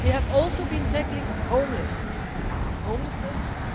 They have also been tackling homelessness,